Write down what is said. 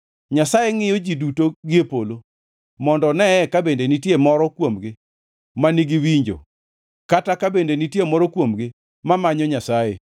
Nyasaye ngʼiyo ji duto gie polo; mondo oneye ka bende nitie moro kuomgi ma nigi winjo, kata ka bende nitie moro kuomgi mamanyo Nyasaye.